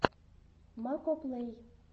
макоплэй